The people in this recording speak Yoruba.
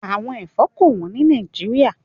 Àwọn ẹ̀fọ́ kò wọ́n ní Nàìjíríà.